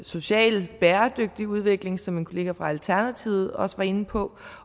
socialt bæredygtig udvikling som min kollega fra alternativet også var inde på